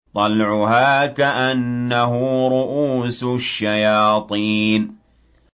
طَلْعُهَا كَأَنَّهُ رُءُوسُ الشَّيَاطِينِ